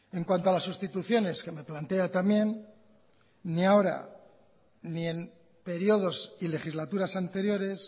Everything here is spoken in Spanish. en cuanto a las sustituciones que me plantea también ni ahora ni en períodos y legislaturas anteriores